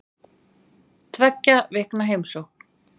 Tveggja vikna heimsókn